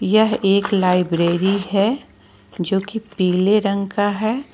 यह एक लाइब्रेरी है जो कि पीले रंग का है।